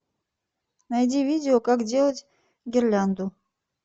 найди видео как делать гирлянду